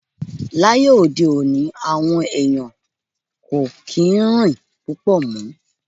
Láyé òde òní, àwọn ẹ̀yàn kò kí ń rìn púpọ̀ mọ́.